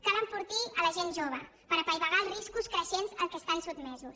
cal enfortir la gent jove per apaivagar els riscos creixents a què estan sotmesos